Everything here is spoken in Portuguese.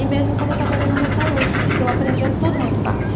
E mesmo quando eu trabalhei na metalúrgica, que eu aprendia tudo muito fácil.